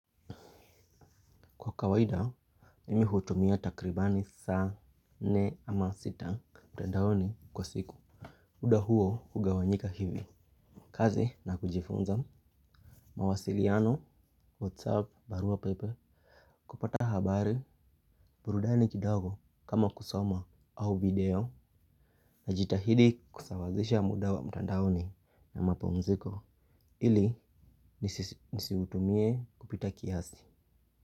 Kwa kawaida, mimi hutumia takribani saa nne ama sita mtandaoni kwa siku. Muda huo hugawanyika hivi, kazi na kujifunza, mawasiliano, whatsapp, barua pepe, kupata habari, burudani kidogo kama kusoma au video. Najitahidi kusawazisha muda wa mtandaoni na mapumziko ili nisiutumie kupita kiasi.